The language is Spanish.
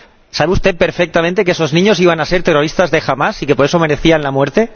¿Sabe usted perfectamente que esos niños iban a ser terrorista de Hamás y que, por eso, merecían la muerte?